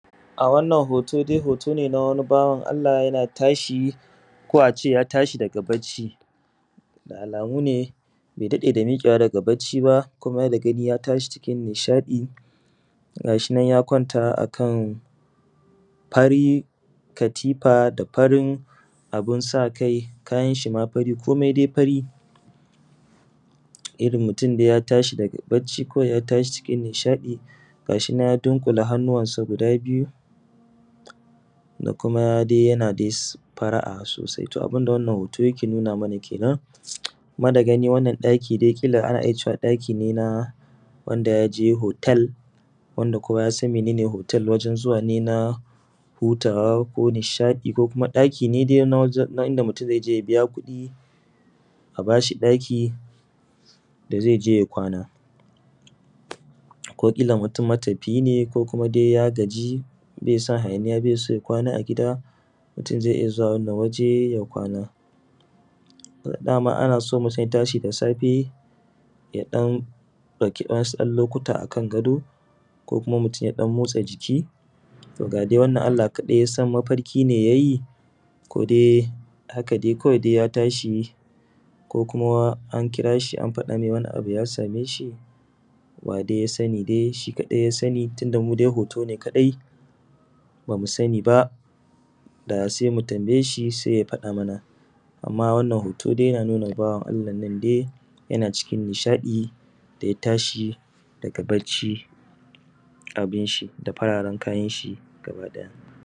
A wannan hoto dai hoto ne na wani bawan Allah yana tashi ko ace ya tashi daga bacci. Da alamu ne bai daɗe da miƙewa daga bacci ba kuma da gani ya tashi cikin nishaɗi ga shinan ya kwanta akan fari katifa da farin abunsa kai, kayanshi ma fari komai dai fari. Irrin mutun dai ya tashi daga bacci kawai ya tashi cikin nishaɗi ga shinan dai ya dunkula hannuwansa guda biyu da kuma ma dai yana dai fara’a sosai. To abunda dai wannan to yake nuna mana kenan. Kuma da gani wannan ɗaki dai ƙila ana iya cewa ɗaki ne na wanda yaje hotel wanda kowa yasan mene ne hotel wanda wajen zuwane na hutawa ko nishaɗi ko kuma ɗaki ne dai na wanda mutun zaije ya biya kuɗi a bashi ɗaki da zaije ya kwana. Ko ƙila mutum matafiyi ne ko kuma dai ya gaji bai son hayaniya bai son ya kwana a gida mutun zai iyya zuwa wannan waje ya kwana. Dama anaso mutun idan ya tashi da safe kaɗan ɗauki wasu lokuta akan gado ku kuma mutun yaje ya ɗan motsa jiki, ga dai wannan Allah kaɗai yasan mafarki ne yayi ko dai haka dai kawai ya tashi ko kuma an kirashi an faɗa mai wani abu ya sameshi ya dai yasani dai shi kaɗai dai yasani tunda mudai hoto ne dai bamu sani ba da sai mu tambayeshi sai ya faɗa mana amma wannan hoto dai yana nuna bawan Allah nan dai yana cikin nishaɗi ya tashi daga bacci abinshi da fararen kayanshi gaba ɗaya.